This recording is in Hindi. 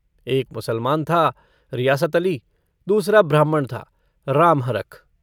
एक मुसलमान था रियासत अली दूसरा ब्राह्मण था रामहरख।